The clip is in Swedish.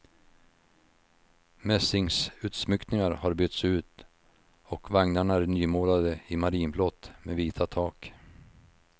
Mässingsutsmyckningar har bytts ut och vagnarna är nymålade i marinblått med vita tak.